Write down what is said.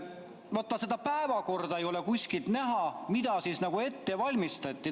" Vaata, seda päevakorda ei ole kuskilt näha, mida siis ette valmistati.